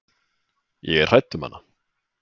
Ég er hrædd um hana.